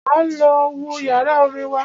Máa lọ wo yàrá orin wa.